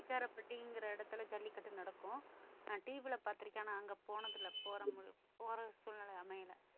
நெய்க்காரப்பட்டிங்கற எடத்துல ஜல்லிக்கட்டு நடக்கும் நான் TV ல பார்த்திருக்கேன் ஆனா அங்க போனதில்லை போற போற சூழ்நிலை அமையலை